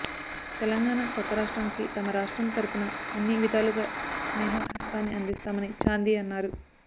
తెలంగాణ కొత్త రాష్ట్రానికి తమ రాష్ట్రం తరఫున అన్ని విధాలుగా స్నేహహస్తాన్ని అందిస్తామని చాందీ అన్నారు